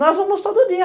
Nós vamos todo dia.